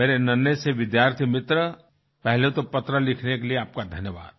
मेरे नन्हे से विद्यार्थी मित्र पहले तो पत्र लिखने के लिए आपका धन्यवाद